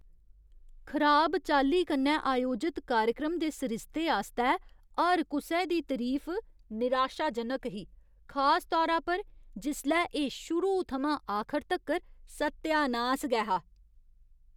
खराब चाल्ली कन्नै आयोजत कार्यक्रम दे सरिस्ते आस्तै हर कुसै दी तरीफ निराशाजनक ही, खास तौरा पर जिसलै एह् शुरू थमां आखर तक्कर सत्यानास गै हा।